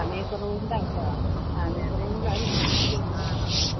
സമയ കുറവ് കൊണ്ട് ആണ് ട്ടോ സമയ കൊറവ് കൊണ്ടാണ് വിളിക്കാത്തത്.